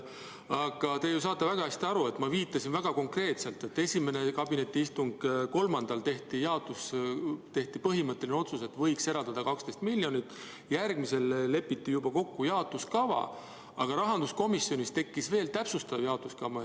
Aga te ju saate väga hästi aru, et ma viitasin konkreetselt: kabinetiistungil tehti jaotus, põhimõtteline otsus, et võiks eraldada 12 miljonit, järgmisel istungil lepiti juba kokku jaotuskava, aga rahanduskomisjonis tekkis veel täpsustav jaotuskava.